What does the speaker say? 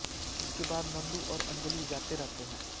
इसके बाद नंदू और अंजलि जाते रहते हैं